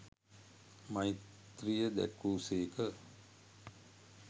මෛත්‍රීය දැක් වූ සේක.